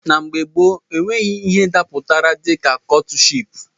Na mgbe gboo, enweghị ihe gbapụtara ihe dịka kọtship